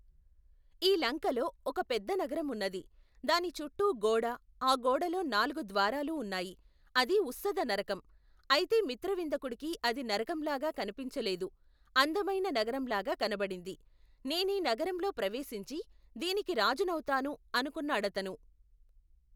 ఈ లంకలో ఒక పెద్ద నగరం ఉన్నది. దాని చుట్టూ గోడా, ఆ గోడలో నాలుగు ద్వారాలూ ఉన్నాయి. అది ఉస్సద నరకం. అయితే మిత్రవిందకుడికి అది నరకంలాగా కనిపించలేదు, అందమైన నగరంలాగా కనబడింది. నేనీ నగరంలో ప్రవేశించి దీనికి రాజునవుతాను ! అనుకున్నాడతను.